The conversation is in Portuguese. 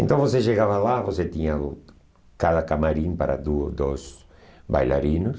Então, você chegava lá, você tinha cada camarim para duo dois bailarinos.